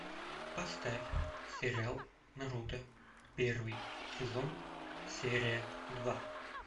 поставь сериал наруто первый сезон серия два